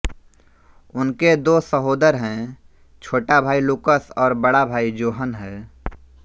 उनके दो सहोदर हैं छोटा भाई लुकस और बड़ा भाई जोहन है